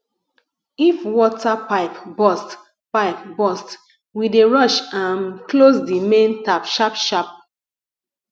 if water pipe burst pipe burst we dey rush um close di main tap sharpsharp